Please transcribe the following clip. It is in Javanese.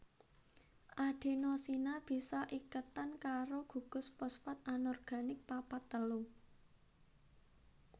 Adenosina bisa iketan karo gugus fosfat anorganik papat telu